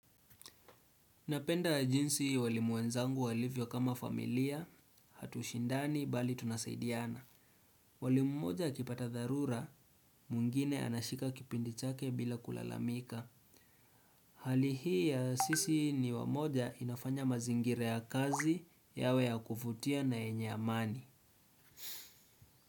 Napenda jinsi walimu wenzangu walivyo kama familia, hatushindani, bali tunasaidiana. Mwalimu mmoja akipata dharura, mwingine anashika kipindi chake bila kulalamika. Hali hii ya sisi ni wamoja inafanya mazingira ya kazi yawe ya kuvutia na yenye amani.